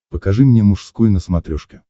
покажи мне мужской на смотрешке